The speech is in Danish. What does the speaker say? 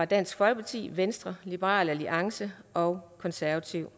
dansk folkeparti venstre liberal alliance og konservative